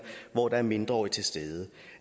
hvor der er mindreårige til stede